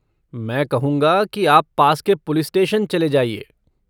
मैं कहूँगा कि आप पास के पुलिस स्टेशन चले जाइए।